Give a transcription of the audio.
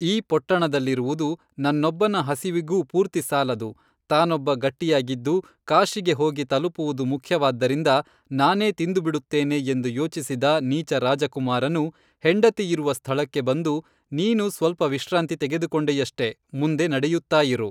ಈ ಪೊಟ್ಟಣದಲ್ಲಿರುವುದು ನನ್ನೊಬ್ಬನ ಹಸಿವಿಗೂ ಪೂರ್ತಿಸಾಲದು ತಾನೊಬ್ಬ ಗಟ್ಟಿಯಾಗಿದ್ದು ಕಾಶಿಗೆ ಹೋಗಿ ತಲಪುವುದು ಮುಖ್ಯವಾದ್ದರಿಂದ ನಾನೇ ತಿಂದುಬಿಡುತ್ತೇನೆ ಎಂದು ಯೋಚಿಸಿದ ನೀಚರಾಜಕುಮಾರನು ಹೆಂಡತಿಯಿರುವ ಸ್ಥಳಕ್ಕೆ ಬಂದು ನೀನು ಸ್ವಲ್ಪ ವಿಶ್ರಾಂತಿ ತೆಗೆದು ಕೊಂಡೆಯಷ್ಟೆ ಮುಂದೆ ನಡೆಯುತ್ತಾ ಇರು